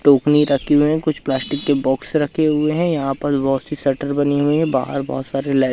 टोपनी रखी हुई हैं कुछ प्लास्टिक के बॉक्स रखे हुए हैं। यहां पर बहोत सी शटर बनी हुई है। बाहर बहोत सारे लाईट --